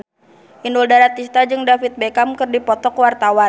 Inul Daratista jeung David Beckham keur dipoto ku wartawan